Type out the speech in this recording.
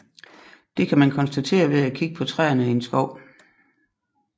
Det kan man konstatere ved at kigge på træerne i en skov